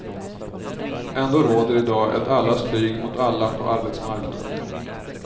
Ändå råder i dag ett allas krig mot alla på arbetsmarknaden.